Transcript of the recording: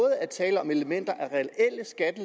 er tale om elementer af